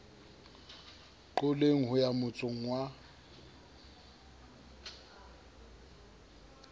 qoleng ho ya motsong wa